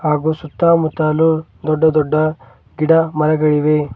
ಹಾಗು ಸುತ್ತ ಮುತ್ತಲು ದೊಡ್ಡ ದೊಡ್ಡ ಗಿಡ ಮರಗಳಿವೆ.